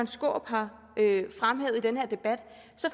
skaarup har fremhævet i den her debat